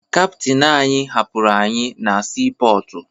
Kaptịn anyị hapụrụ anyị na siipọọtụ